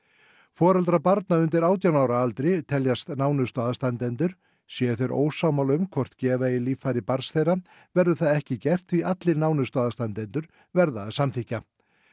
foreldrar barna undir átján ára aldri teljast nánustu aðstandendur séu þeir ósammála um hvort gefa eigi líffæri barns þeirra verður það ekki gert því allir nánustu aðstandendur verða að samþykkja